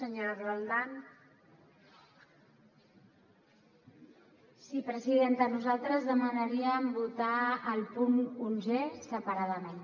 sí presidenta nosaltres demanaríem votar el punt onzè separadament